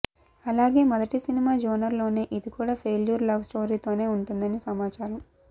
అలాగే మొదటి cinema genre లోనే ఇది కూడా ఫెయిల్యూర్ లవ్ స్టొరీతోనే ఉంటుంది అని సమాచారం